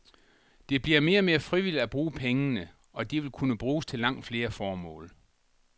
Det bliver mere frivilligt at bruge pengene, og de vil kunne bruges til langt flere formål.